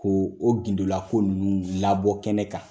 Ko o gindo la ko ninnu labɔ kɛnɛ kan.